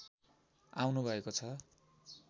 आउनु भएको छ